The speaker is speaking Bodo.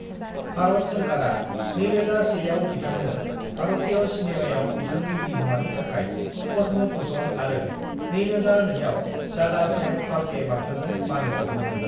भारत सोरखारा 2001आव बिथांनो भारतीय सिनेमायाव बिथांनि बिहोमानि थाखाय पद्म भूषण आरो 2002 आव दादा साहेब फाल्के बान्थाजों मान बाउदोंमोन।